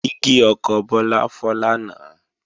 Dígí ọkọ̀ Bọ́lá fọ́ lánàá